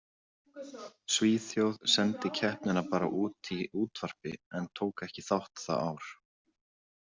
Svíþjóð sendi keppnina bara út í útvarpi en tók ekki þátt það ár.